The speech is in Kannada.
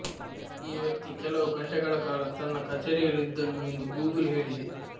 ಈ ವ್ಯಕ್ತಿ ಕೆಲವು ಗಂಟೆಗಳ ಕಾಲ ತನ್ನ ಕಚೇರಿಯಲ್ಲಿದ್ದನು ಎಂದು ಗೂಗಲ್ ಹೇಳಿದೆ